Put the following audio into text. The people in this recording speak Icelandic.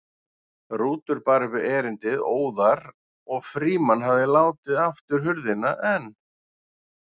Rútur bar upp erindið óðar og Frímann hafði látið aftur hurðina en